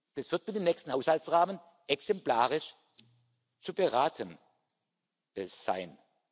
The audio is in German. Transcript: Das wird für den nächsten Haushaltsrahmen exemplarisch zu beraten sein.